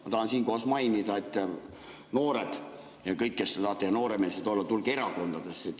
Ma tahan siinkohal mainida, et noored ja kõik, kes te tahate nooremeelsed olla, tulge erakondadesse.